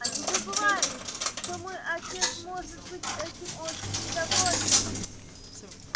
они забывают что мой отец может быть этим очень недоволен